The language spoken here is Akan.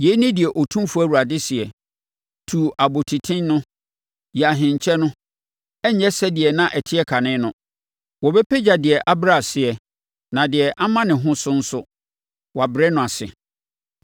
yei ne deɛ Otumfoɔ Awurade seɛ: Tu abɔtiten no, yi ahenkyɛ no. Ɛrenyɛ sɛdeɛ na ɛteɛ kane no: Wɔbɛpagya deɛ abrɛ ase, na deɛ ama ne ho so nso, wɔabrɛ no ase.